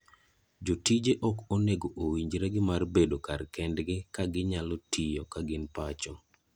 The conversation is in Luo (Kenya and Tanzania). Jotije ok onego owinjre gi mar bedo kar kendgi ka ginyalo tiyo ka gin pacho.